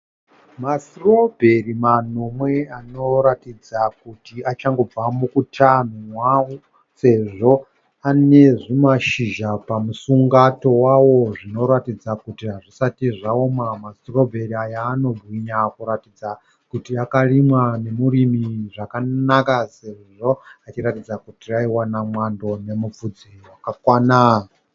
Masitirobheri manomwe anoratidza kuti achangobva mukutanhwa sezvo ane zvimashizha pamusungato wawo zvinoratidza kuti hazvisati zvaoma. Masitirobheri aya anobwinya kuratidza kuti akarimwa nemuromo zvakanaka sezvo anoratidza kuti aiwana mwando nemupfudze wakakwana.